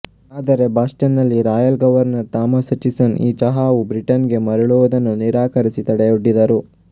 ಆದರೆ ಬಾಸ್ಟನ್ ನಲ್ಲಿ royal governor Thomas Hutchinson ಈ ಚಹಾವು ಬ್ರಿಟನ್ ಗೆ ಮರುಳುವುದನ್ನು ನಿರಾಕರಿಸಿ ತಡೆಯೊಡ್ಡಿದರು